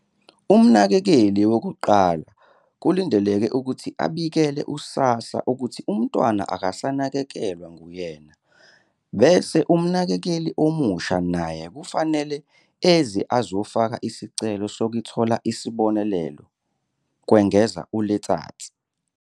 Umnakekeli wokuqala kulindeleke ukuthi abikele u-SASSA ukuthi umntwana akasanakekelwa nguyena, bese umnakekeli omusha naye kufanele eze azofaka isicelo sokuthola isibonelelo," kwengeza u-Letsatsi.